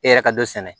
E yɛrɛ ka dɔ sɛnɛ